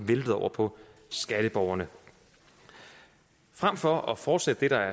væltet over på skatteborgerne frem for at fortsætte det der